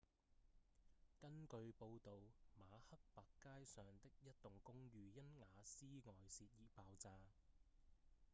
根據報導馬克白街上的一棟公寓因瓦斯外洩而爆炸